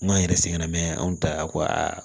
N'an yɛrɛ sɛgɛn na mɛ an ta kɔ